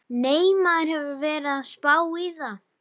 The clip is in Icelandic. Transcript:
Nei, maður hefur verið að spá í það.